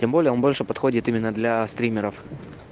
тем более он больше подходит именно для стримеров